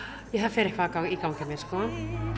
fer eitthvað í gang hjá mér sko